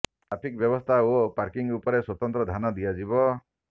traffic ବ୍ୟବସ୍ଥା ଓ parking ଉପରେ ସ୍ୱତନ୍ତ୍ର ଧ୍ୟାନ ଦିଆଯିବ